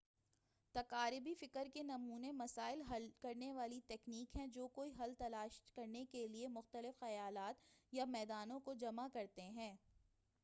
تقاربی فکر کے نمونے مسائل حل کرنے والی تکنیک ہیں جو کوئی حل تلاش کرنے کے لئے مختلف خیالات یا میدانوں کو جمع کرتے ہیں